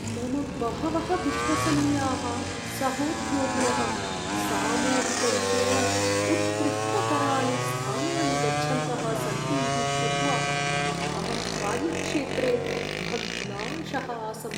मम बहवः विश्वसनीयाः सहोद्योगिनः सामूहिकरूपेण उत्कृष्टतराणि स्थानानि गच्छन्तः सन्ति इति श्रुत्वा अहं कार्यक्षेत्रे भग्नाशः आसम्।